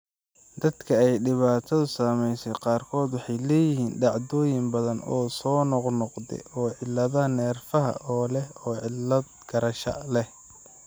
Dadka ay dhibaatadu saameysey qaarkood waxay leeyihiin dhacdooyin badan oo soo noqnoqda ee cilladaha neerfaha oo leh cillad garasho.